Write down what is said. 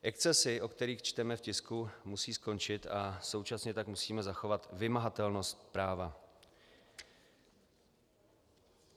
Excesy, o kterých čteme v tisku, musí skončit a současně tak musíme zachovat vymahatelnost práva.